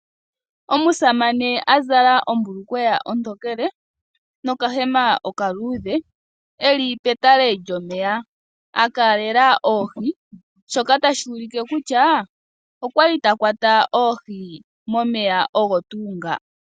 Omusamane a zala ombulukweya ontokele nokahema okaluudhe e li petale lyomeya, a kalela oohi, shoka tashi ulike kutya okwa li ta kwata oohi momeya ogo tuu nga.